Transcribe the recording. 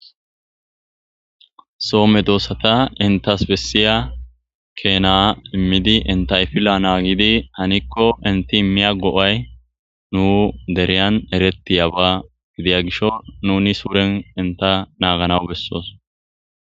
soome doossata intas bessiya keena immidi intayfila naagidi hanikko inti immiya go7ay nu deriyan erettiyaba gidiya gisho nuni suuren inta naaganawu bessoos